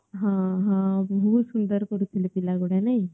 ହଁ ହଁ ବହୁତ ସୁନ୍ଦର କରୁ ଥିଲେ ପିଲା ଗୁଡା ନାଇଁ